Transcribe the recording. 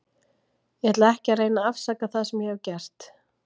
Ég ætla ekki að reyna að afsaka það sem ég hef gert.